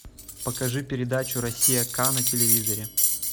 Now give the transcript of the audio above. покажи передачу россия к на телевизоре